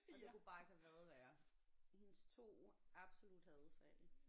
Og det kunne bare ikke have været værre hendes 2 absolut hadefag